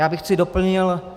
Já bych to doplnil.